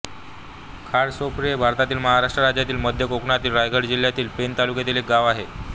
खारसापोळी हे भारतातील महाराष्ट्र राज्यातील मध्य कोकणातील रायगड जिल्ह्यातील पेण तालुक्यातील एक गाव आहे